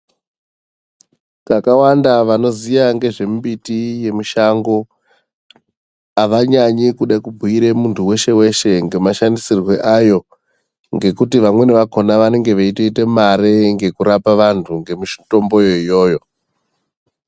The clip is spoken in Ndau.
Kakawanda vanoziya ngezvemumbiti yemushango avanyanyi kude kubhiire muntu hweshe hweshe ngemashandisirwe ayo ngekuti vamweni vakhona vanenge veitoite mare ngekurape vantu ngemutombo iyoyo.